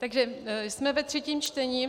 Takže jsme ve třetím čtení.